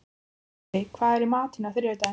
Baddi, hvað er í matinn á þriðjudaginn?